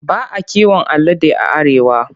Ba a kiwon alade a Arewa.